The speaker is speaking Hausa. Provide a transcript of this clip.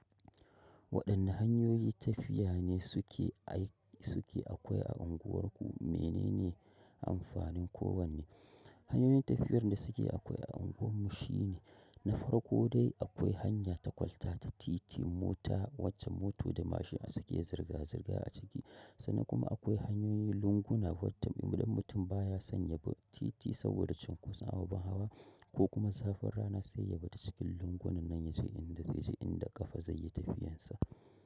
Waɗanne hanyoyi tafiya ne suke ai? Suke akwai a unguwarku? Menene amfanin kowanne? Hanyoyin tafiyar da suke akwai a unguwarmu shine na farko dai akwai hanya ta kwalta ta titi mota wacce moto da mashina suke zirga-zirga a ciki sannan kuma akwai hanyoyin lunguna wadda idan mutum baya san yabi titi saboda cinkoson ababen hawa ko kuma zafin rana sai yabi ta cikin lungu nan nan yaje inda zai je inda ƙafa zaiyi tafiyarsa.